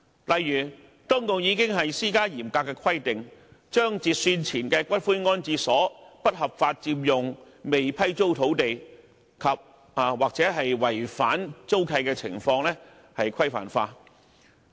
例如當局已施加嚴格規定，把截算前的骨灰安置所不合法佔用未批租土地及/或違反租契的情況規範化。